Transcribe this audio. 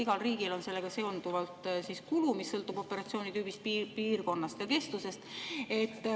Igal riigil on sellega seonduvalt kulu, mis sõltub operatsiooni tüübist, piirkonnast ja kestusest.